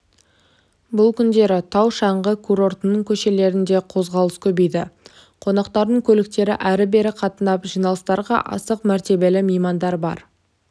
бұл күндері тау-шаңғы курортының көшелерінде қозғалыс көбейді қонақтардың көліктері әрі-бері қатынап жиналыстарға асық мәртебелі меймандар бар